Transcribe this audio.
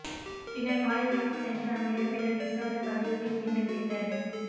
பின்னர் பாலைக்குளிக்கு சென்று அங்கு இடம்பெற்ற ரிஷாட் பதியுதீன் கிண்ண கிரிக்கட்